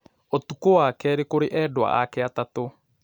Ũtukũ wa kerĩ kũrĩ endwa ake atatũ